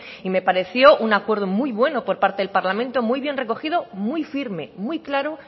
y me pareció un acuerdo muy bueno por parte del parlamento muy bien recogido muy firme muy claro